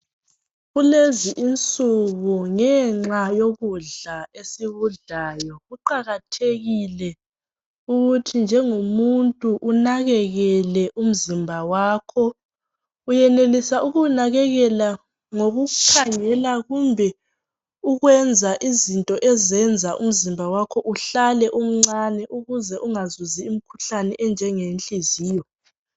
Kulezi insuku ngenxa yokudla esikudlayo kuqakathekile ukuthi njengomuntu unakelele umzimba wakho, uyenelisa ukuwunakelela ngokukhangela kumbe ukwenza izinto ezenza umzimba uhlale umncane ukuze ungazuzi umkhuhlane onjengowenhliziyo